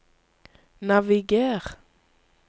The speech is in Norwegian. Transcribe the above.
naviger